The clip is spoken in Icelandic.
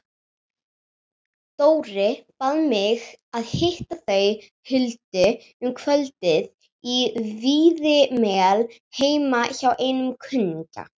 Dóri bað mig að hitta þau Huldu um kvöldið á Víðimel heima hjá einum kunningjanna.